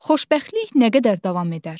Xoşbəxtlik nə qədər davam edər?